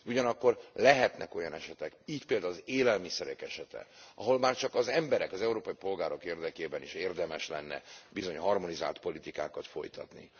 Ugyanakkor lehetnek olyan esetek, így például az élelmiszerek esete, ahol már csak az emberek, az európai polgárok érdekében is érdemes lenne bizony harmonizált politikákat folytatni.